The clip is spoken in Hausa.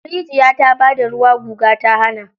Rijiya ta bada ruwa guga ta hana.